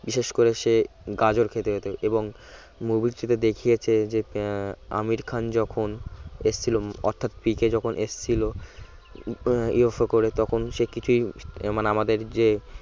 বিশেষ করে সে গাজর খেতে যেতো এবং movie টিতে দেখিয়েছে যে আহ আমির খান যখন এসেছিল অর্থাৎ পিকে যখন এসেছিল আহ UFO করে তখন সে কিছুই মানে আমাদের যে